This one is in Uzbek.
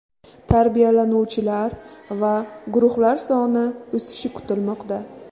Tarbiyalanuvchilar va guruhlar soni o‘sishi kutilmoqda.